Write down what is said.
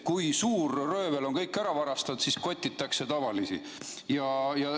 Kui suur röövel on kõik ära varastanud, siis kotitaksegi tavalisi inimesi.